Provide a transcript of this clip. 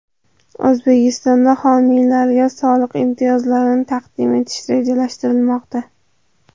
O‘zbekistonda homiylarga soliq imtiyozlarini taqdim etish rejalashtirilmoqda.